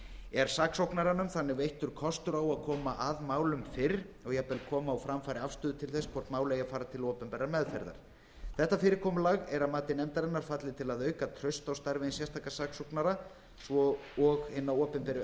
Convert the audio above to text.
er saksóknaranum þannig veittur kostur á að koma að málum fyrr og jafnvel koma á framfæri afstöðu til þess hvort mál eigi að fara til opinberrar meðferðar þetta fyrirkomulag að mati nefndarinnar fallið til að auka traust á starfi hins sérstaka saksóknara svo og hinna opinberu